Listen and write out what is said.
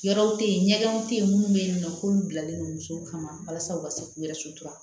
Yɔrɔw te yen ɲɛgɛnw te yen munnu be yen nɔ k'olu bilalen do muso kama walasa u ka se k'u yɛrɛ